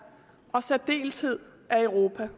og i særdeleshed af europa